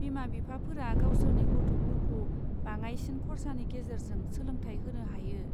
बिमा बिफाफोरा गावसोरनि गथ'फोरखौ बाङाइसिन खरसानि गेजेरजों सोलोंथाय होनो हायो।